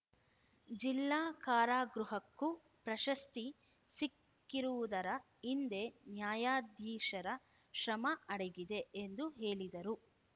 ಜಿಲ್ಲಾ ಕಾರಾಗೃಹಕ್ಕೂ ಪ್ರಶಸ್ತಿ ಸಿಕ್ಕಿರುವುದರ ಹಿಂದೆ ನ್ಯಾಯಾಧೀಶರ ಶ್ರಮ ಅಡಗಿದೆ ಎಂದು ಹೇಳಿದರು